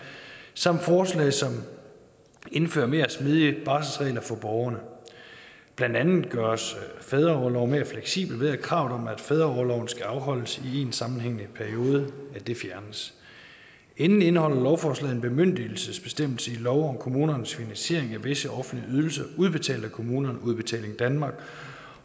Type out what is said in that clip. samt forslag som indfører mere smidige barselsregler for borgerne blandt andet gøres fædreorloven mere fleksibel ved at kravet om at fædreorloven skal afholdes i én sammenhængende periode fjernes endelig indeholder lovforslaget en bemyndigelsesbestemmelse i lov om kommunernes finansiering af visse offentlige ydelser udbetalt af kommunerne udbetaling danmark